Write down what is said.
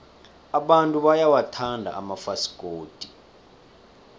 abantu bayawathanda amafasikodi